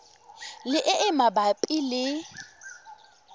le e e mabapi le